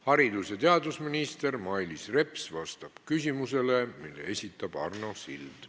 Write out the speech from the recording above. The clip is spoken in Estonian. Haridus- ja teadusminister Mailis Reps vastab küsimusele, mille esitab Arno Sild.